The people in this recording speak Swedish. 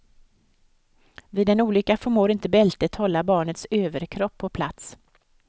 Vid en olycka förmår inte bältet hålla barnets överkropp på plats.